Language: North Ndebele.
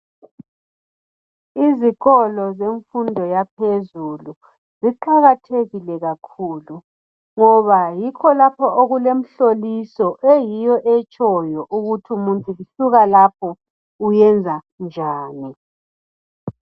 Izikolo zemfundo yaphezulu ziqakathekile kakhulu ngoba yikho lapho okulemihloliso eyiyo etshoyo ukuthi umuntu esukalapho uyenzanjani.